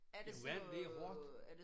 Jamen vand det er hårdt